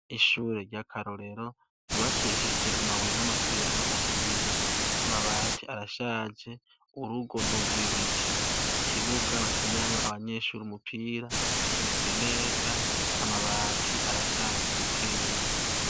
Ishure ry'akarorero ryubakishijwe amabuye n'amaturirano ahiye amabati arashaje urugo nurw'ibiti ikibuga bakiniramwo abanyeshure umupira kimeze neza amabati arashaje buke buke.